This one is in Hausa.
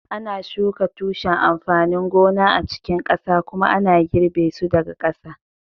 ana shuka tushen amfanin gona a cikin ƙasa kuma ana girbe su daga ƙasa